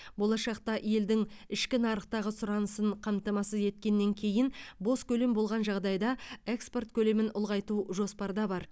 болашақта елдің ішкі нарықтағы сұранысын қамтамасыз еткеннен кейін бос көлем болған жағдайда экспорт көлемін ұлғайту жоспарда бар